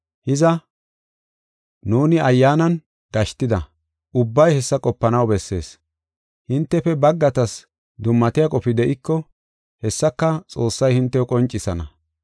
Hiza, nuuni Ayyaanan gashtida ubbay hessa qopanaw bessees. Hintefe baggatas dummatiya qofi de7iko, hessaka Xoossay hintew qoncisana.